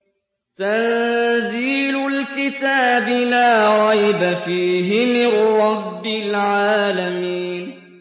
تَنزِيلُ الْكِتَابِ لَا رَيْبَ فِيهِ مِن رَّبِّ الْعَالَمِينَ